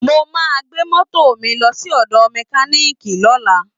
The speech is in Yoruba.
Mo máa gbé mọ́tò mi lọ sí ọ̀dọ mẹkánììkì lọ́lM